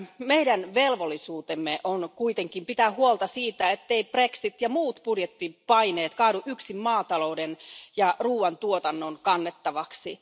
Meidän velvollisuutenamme on kuitenkin pitää huolta siitä, etteivät brexit ja muut budjettipaineet kaadu yksin maatalouden ja ruoantuotannon kannettavaksi.